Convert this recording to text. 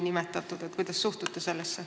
Kuidas sellesse suhtute?